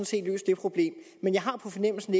set løst det problem men jeg har på fornemmelsen